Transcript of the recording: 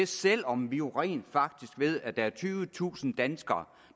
selv om vi jo rent faktisk ved at der er tyvetusind danskere